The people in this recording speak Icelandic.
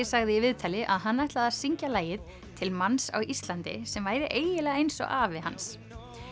sagði í viðtali að hann ætlaði að syngja lagið til manns á Íslandi sem væri eiginlega eins og afi hans